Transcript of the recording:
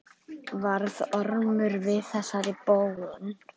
Varð Ormur við þessari bón.